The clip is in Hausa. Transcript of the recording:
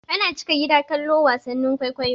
Ana cika gida kallon wasannin kwaikwayo.